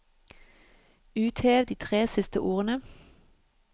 Uthev de tre siste ordene